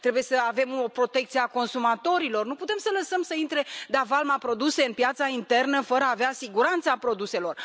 Trebuie să avem o protecție consumatorilor, nu putem să lăsăm să între de a valma produse în piața internă fără a avea siguranța produselor.